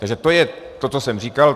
Takže to je to, co jsem říkal.